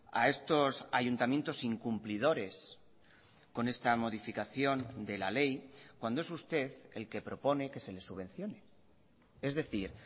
a estos ayuntamientos incumplidores con esta modificación de la ley cuando es usted el que propone que se les subvencione es decir